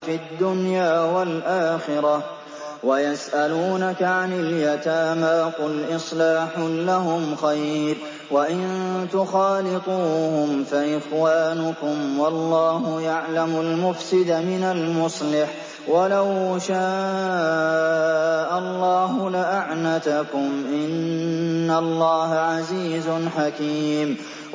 فِي الدُّنْيَا وَالْآخِرَةِ ۗ وَيَسْأَلُونَكَ عَنِ الْيَتَامَىٰ ۖ قُلْ إِصْلَاحٌ لَّهُمْ خَيْرٌ ۖ وَإِن تُخَالِطُوهُمْ فَإِخْوَانُكُمْ ۚ وَاللَّهُ يَعْلَمُ الْمُفْسِدَ مِنَ الْمُصْلِحِ ۚ وَلَوْ شَاءَ اللَّهُ لَأَعْنَتَكُمْ ۚ إِنَّ اللَّهَ عَزِيزٌ حَكِيمٌ